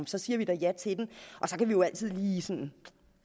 så siger vi da ja til den og så kan vi jo altid lige